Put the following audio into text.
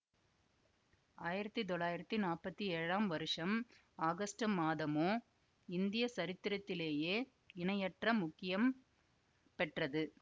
ஆயிரத்தி தொள்ளாயிரத்தி நாப்பத்தி ஏழாம் வருஷம் ஆகஸ்டு மாதமோ இந்திய சரித்திரத்திலேயே இணையற்ற முக்கியம் பெற்றது